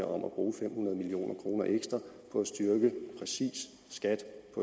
om at bruge fem hundrede million kroner ekstra på at styrke præcis skat